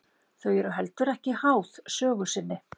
Þau eru heldur ekki háð sögu sinni.